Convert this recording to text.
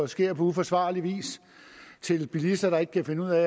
sker på uforsvarlig vis til bilister der ikke kan finde ud af